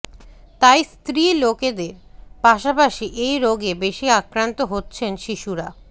তাই স্ত্রী লোকদের পাশাপাশি এই রোগে বেশি আক্রান্ত হচ্ছেন শিশুরা